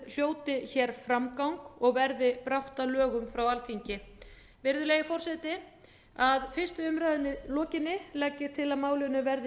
hljóti hér framgang og verði brátt að lögum frá alþingi virðulegi forseti að fyrstu umræðu lokinni legg ég til að málinu verði